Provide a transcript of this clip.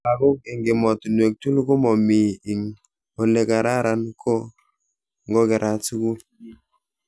Lagok eng emotunwek tugul ko mamii ing olekararan ko ngokerat sukul.